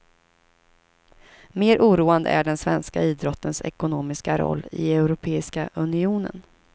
Mer oroande är den svenska idrottens ekonomiska roll i europeiska unionen.